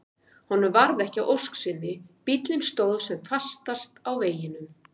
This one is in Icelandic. Honum varð ekki að ósk sinni, bíllinn stóð sem fastast á veginum.